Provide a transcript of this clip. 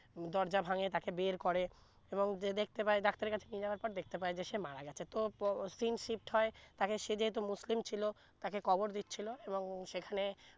দরজা ভাঙ্গে তাকে বের করে এবং যে দেখতে পায় ডাক্তার এর কাছে নিয়ে যাবার পর দেখতে পায় যে সে মারা গেছে তো পো scene shift তাকে সে যে মুসলিম ছিলো তাকে কবর দিচ্ছিলো এবং সেখানে